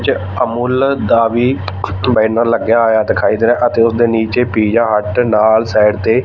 ਚ ਅਮੁੱਲ ਦਾ ਵੀ ਬੈਨਰ ਲੱਗਿਆ ਹੋਇਆ ਦਿਖਾਈ ਦੇ ਰਿਹਾ ਅਤੇ ਉਸਦੇ ਨੀਚੇ ਪੀਜਾ ਹੱਟ ਨਾਲ ਸਾਈਡ ਤੇ--